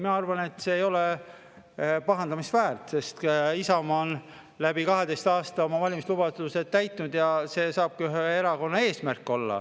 Ei, ma arvan, et see ei ole pahandamist väärt, sest Isamaa on 12 aasta jooksul oma valimislubadused täitnud, ja see saabki olla ühe erakonna eesmärk.